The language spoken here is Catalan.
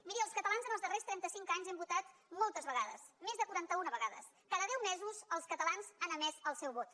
miri els catalans els darrers trenta cinc anys hem votat moltes vegades més de quaranta una vegades cada deu mesos els catalans han emès el seu vot